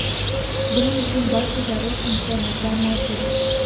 Buning uchun barcha zarur imkoniyatlar mavjud.